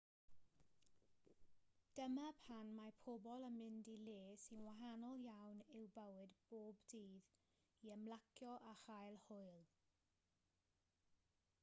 dyma pan mae pobl yn mynd i le sy'n wahanol iawn i'w bywyd bob dydd i ymlacio a chael hwyl